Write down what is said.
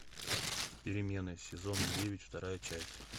перемена сезон девять вторая часть